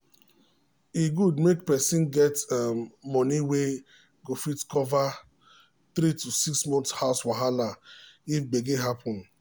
e good make person get um money wey go fit cover 3 to 6 months house wahala if gbege happen.